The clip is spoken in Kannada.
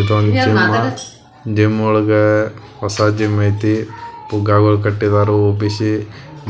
ಇದೊಂದು ಜಿಮ್ ಜಿಮ್ ಒಳಗ ಹೊಸ ಜಿಮ್ ಐತಿ ಪುಗ್ಗಾಗೋಲ್ ಕಟ್ಟಿದರು ಉಬಿಷಿ